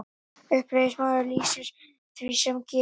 Uppreisnarmaður lýsir því sem gerðist